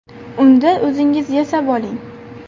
Unda o‘zingiz yasab oling!